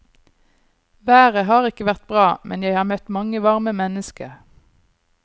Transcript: Været har ikke vært bra, men jeg har møtt mange varme mennesker.